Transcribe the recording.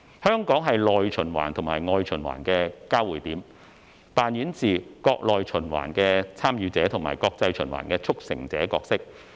香港是內循環和外循環的交匯點，扮演着國內循環"參與者"和國際循環"促成者"的角色。